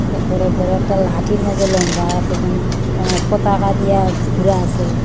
বড় একটা লাঠির মাঝে লম্বা এত্তা কিরম পতাকা দিয়া ঘুরা আছে।